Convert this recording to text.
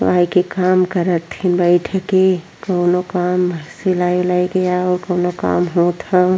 पढ़ाये के काम करत ह बइठ के। कोनो काम सिलाए उलाई के ये कोनो काम होत हव।